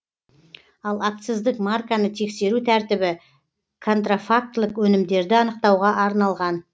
ал акциздік марканы тексеру тәртібі контрафактілік өнімдерді анықтауға арналған